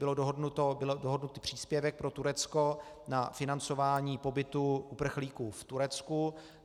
Byl dohodnut příspěvek pro Turecko na financování pobytu uprchlíků v Turecku.